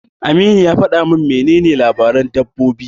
Aminu ya faɗa min menene labaran dabbobi.